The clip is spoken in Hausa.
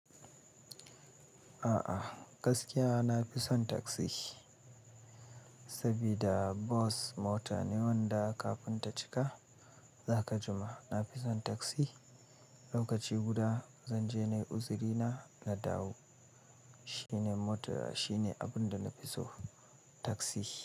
A'a, gaskiya na fi son taksi saboda bas mota ne wanda kafin ta cika za ka jima. Na fi son taksi, lokaci guda zan je nayi uzurina na dawo. Shi ne mota, shi ne abin da na fi so taksi.